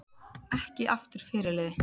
Ekki aftur fyrirliði